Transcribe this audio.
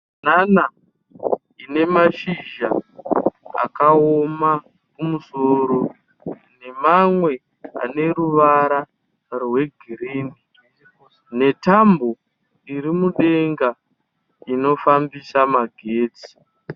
Mibanana ine mashizha akaoma kumusoro nemamwe aneruvara rwegirini netambo iri mudenga inofambisa magetsi.